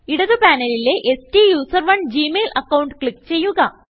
ഇടത് പാനലിലെSTUSERONEജി mail account click ചെയ്യുക